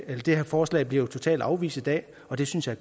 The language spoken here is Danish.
det her forslag bliver jo totalt afvist i dag og det synes jeg